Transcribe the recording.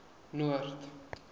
noord